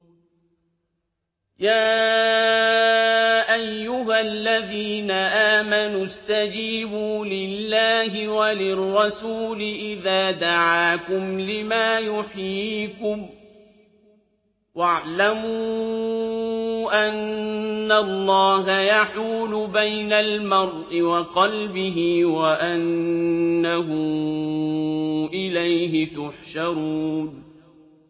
يَا أَيُّهَا الَّذِينَ آمَنُوا اسْتَجِيبُوا لِلَّهِ وَلِلرَّسُولِ إِذَا دَعَاكُمْ لِمَا يُحْيِيكُمْ ۖ وَاعْلَمُوا أَنَّ اللَّهَ يَحُولُ بَيْنَ الْمَرْءِ وَقَلْبِهِ وَأَنَّهُ إِلَيْهِ تُحْشَرُونَ